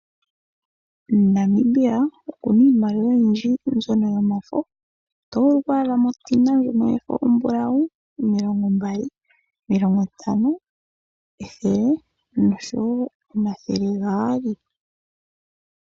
Namibia oku na iomaliwa oyindji mbyono yomafo. Oto vulu oku adhamo omulongo omumbulawu, omilongo mbali, omilongo ntano, ethele noshowo omathele gaali.